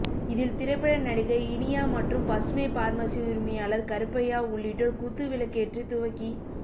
இதில் திரைப்பட நடிகை இனியா மற்றும் பசுமை பார்மசி உரிமையாளர் கருப்பையா உள்ளிட்டோர் குத்து விளக்கேற்றி துவக்கி